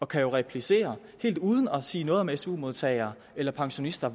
kan jo replicere helt uden at sige noget om det su modtagere eller pensionister